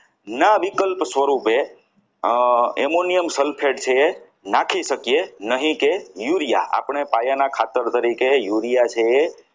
ના વિકલ્પ સ્વરૂપે અમ Ammonium Sulphate છે નાખી શકીએ નહીં કે urea આપણે પાયાના તરીકે urea છે એ